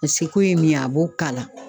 A seko ye min ye, a b'o kala.